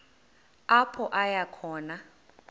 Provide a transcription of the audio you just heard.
apho aya khona